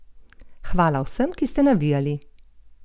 Hvala vsem, ki ste navijali!